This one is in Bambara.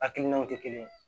Hakilinaw tɛ kelen ye